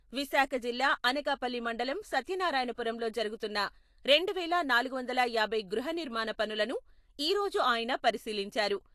విశాఖ జిల్లా అనకాపల్లి మండలం సత్యనారాయణపురంలో జరుగుతున్న రెండు వేల నాలుగు వందల యాభై గృహ నిర్మాణ పనులను ఈ రోజు ఆయన పరిశీలించారు.